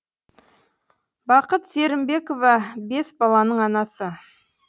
бақыт серімбекова бес баланың анасы